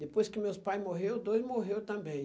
Depois que meus pai morreu, os dois morreu também.